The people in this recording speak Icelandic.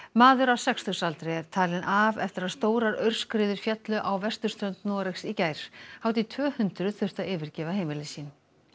maður á sextugsaldri er talinn af eftir að stórar aurskriður féllu á vesturströnd Noregs í gær hátt í tvö hundruð þurftu að yfirgefa heimili sín